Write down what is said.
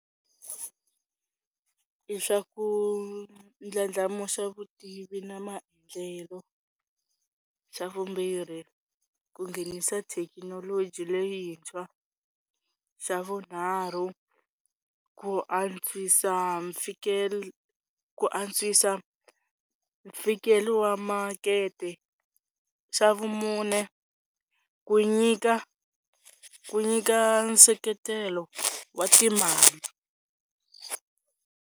I swa ku ndlandlamuxa vutivi na maendlelo, xa vumbirhi ku nghenisa thekinoloji leyintshwa, xa vunharhu ku antswisa ku antswisa mfikelelo wa makete, xa vumune ku nyika ku nyika nseketelo wa timali.